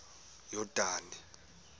yordane